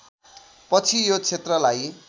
पछि यो क्षेत्रलाई